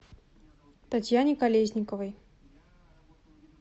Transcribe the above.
татьяне колесниковой